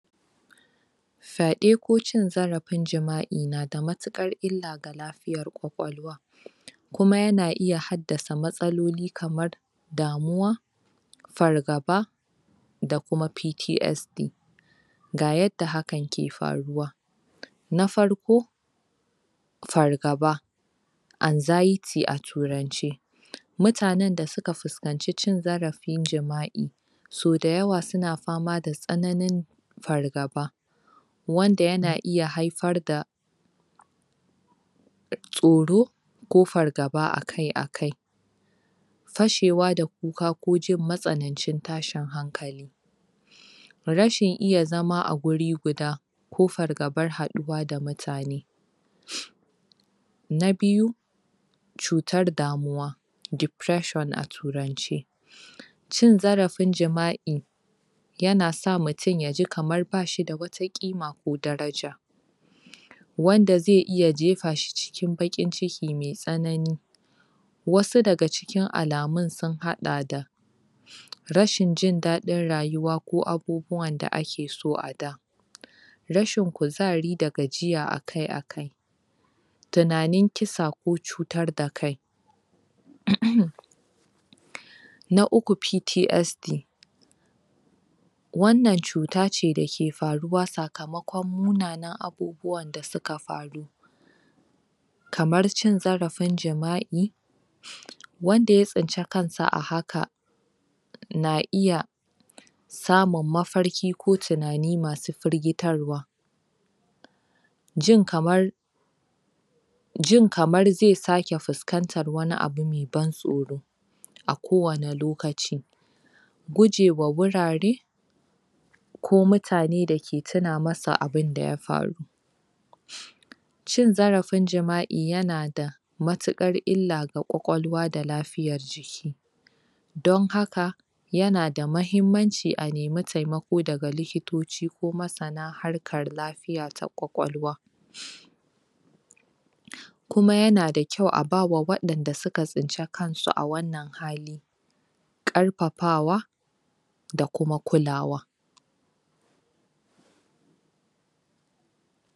fade ko cin zarafin jimai nada matukan illa ga lafiyan kwakwalwa kuma yana isa haddasa matsaloli kamar damuwa fargaba da kuma PTSD ga yadda hakan ke faruwa na farko fargaba anxiety a turance mutanen da suka finkaci cin zarafin jimai so da yawa suna fama da tsananin fargaba wanda yana iya haifar da tsoro ko fargaba akai akai fashewa da kuka dan jin matsanancin tashin hankali rashin iya zama a huri guda ko fargaban ghaduwa da mutane na biyu tsutar damuwa depression a turance cin zarafin jimai yana sa mutun ya ji kaman bashida wata kima ko daraja wanda zai iya jefashi cikin baki n ciki mai tsanani wasu daga cikin alamun sun hada da rashin jin dadin rayuwa ko abubuwan da ake so a da rashin kuzari da gajiya akai akai tunanin kisa ko tsutar da kai hmmm na uku PTSD wan nan tsutace da ke faruwa sakamako munanan abubuwa da suka faru kamar cin zarafin jimai wanda ya tsinci kansa a haka na iya samun mafarki ko tunani masu firgitarwa jin kamar jin kamar zai sake fuskantan wani abu mai ban tsoro a ko wanne lokaci guje ma hurare ko mutane dake tunamawa abin da ya faru cin zarafin jimai yana da matukar illa ga kwakwalwa da lafiayan jiki don haka yana da mahimmanci a nemi taimako daga likitoci ko masana masana karin klafiaya ta kwakwalwa kuma yana da kyau, abawa wayanda suka tsinta kansu a wannan hali karfafawa da kuma kulawa